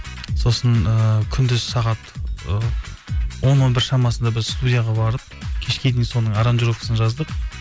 сосын ыыы күндіз сағат ы он он бір шамасында біз студияға барып кешке дейін соның аранжировкасын жаздық